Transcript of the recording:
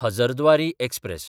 Hazarduari express